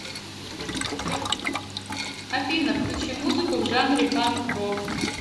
афина включи музыку в жанре панк рок